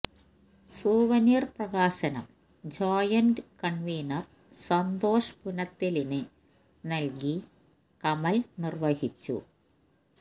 souvenir പ്രകാശനം joint convener Santhosh പുനത്തിലിന് നല്കി കമല് നിര്വഹിച്ചു